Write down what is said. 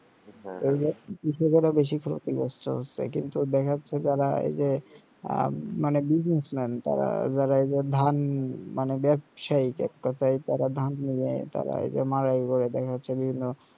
এই যে কৃষকেরা বেশি ফলাতে চেষ্টা হচ্ছে কিন্তু দেখা যাচ্ছে যারা এই যে আহ মানে business man তারা আহ যারা ধান মানে ব্যাবসায়ী এককথায় তারা ধান নিয়েতারাই মাড়াই করে দেখা যাচ্ছে বিভিন্ন